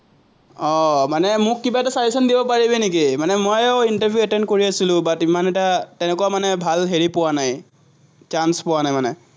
আহ মানে মোক কিবা এটা suggestion দিব পাৰিবি নেকি, মানে ময়ো interview attend কৰি আছিলো, but ইমান এটা তেনেকুৱা মানে ভাল হেৰি পোৱা নায়। chance পোৱা নাই মানে।